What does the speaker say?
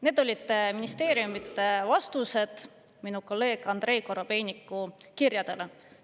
Seal olid ministeeriumide vastused minu kolleegi Andrei Korobeiniku kirjadele.